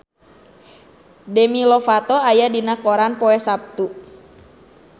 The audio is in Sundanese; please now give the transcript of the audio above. Demi Lovato aya dina koran poe Saptu